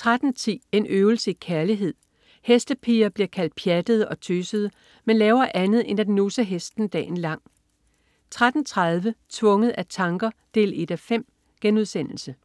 13.10 En øvelse i kærlighed. Hestepiger bliver kaldt pjattede og tøsede, men laver andet end at nusse hesten dagen lang 13.30 Tvunget af tanker 1:5*